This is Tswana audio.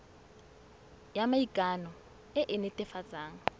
ya maikano e e netefatsang